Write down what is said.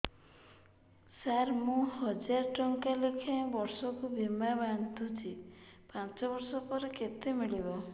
ସାର ମୁଁ ହଜାରେ ଟଂକା ଲେଖାଏଁ ବର୍ଷକୁ ବୀମା ବାଂଧୁଛି ପାଞ୍ଚ ବର୍ଷ ପରେ କେତେ ମିଳିବ